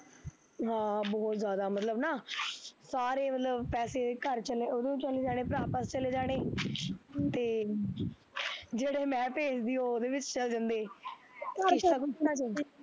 ਹਾਂ ਬਹੁਤ ਜਿਆਦਾ ਮਤਲਬ ਨਾ, ਸਾਰੇ ਮਤਲਬ ਪੈਸੇ ਘਰ ਚ ਨੇ ਉਹਨੂੰ ਚੱਲ ਜਾਣੇ ਭਰਾ ਪਾਸ ਚੱਲ ਜਾਣੇ , ਤੇ , ਜਿਹੜੇ ਮੈਂ ਭੇਜਦੀ ਉਹ ਉਹਦੇ ਵਿੱਚ ਚੱਲ ਜਾਂਦੇ